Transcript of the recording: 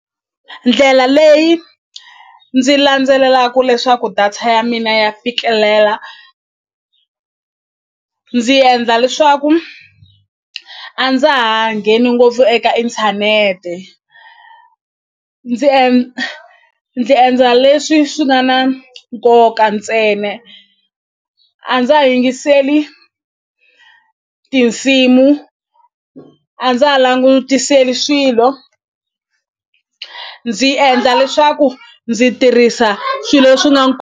Ndlela leyi ndzi landzelelaku leswaku data ya mina ya fikelela ndzi endla leswaku a ndza ha ngheni ngopfu eka inthanete ndzi ndzi endla leswi swi nga na nkoka ntsena a ndza yingiseli tinsimu a ndza ha langutiseli swilo ndzi endla leswaku ndzi tirhisa swilo swi .